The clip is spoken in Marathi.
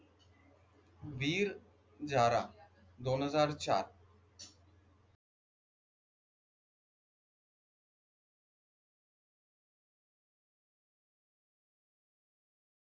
वीर जारा दोन हजार चार